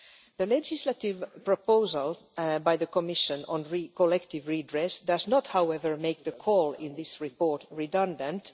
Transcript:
The legislative proposal by the Commission on collective redress does not, however, make the call in this report redundant.